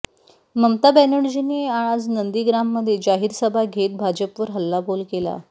ममता बॅनर्जींनी आज नंदीग्राममध्ये जाहीर सभा घेत भाजपवर हल्लाबोल केला